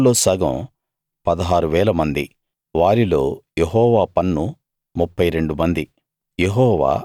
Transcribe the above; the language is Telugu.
మనుషుల్లో సగం 16000 మంది వారిలో యెహోవా పన్ను 32 మంది